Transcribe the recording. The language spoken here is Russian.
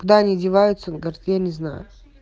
куда они одеваются он говорит я не знаю